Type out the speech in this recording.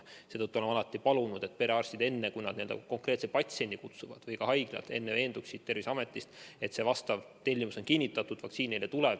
Seetõttu oleme alati palunud, et perearstid ja ka haiglad enne, kui nad konkreetse patsiendi kohale kutsuvad, veenduksid Terviseameti kaudu, et vastav tellimus on kinnitatud ja vaktsiin neile tuleb.